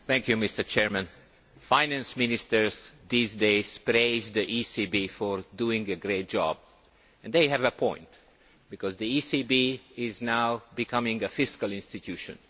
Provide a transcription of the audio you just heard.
Mr President, Finance Ministers these days praise the ECB for doing a great job, and they have a point, because the ECB is now becoming a fiscal institution.